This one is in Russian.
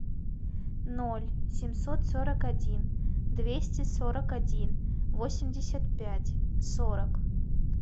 ноль семьсот сорок один двести сорок один восемьдесят пять сорок